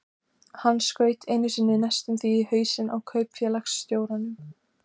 Hann skaut einu sinni næstum því í hausinn á kaupfélagsstjóranum.